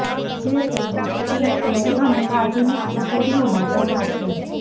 જે તેમની કેટલીક જૂની અને આધુનિક તિજોરીઓમાં જમા છે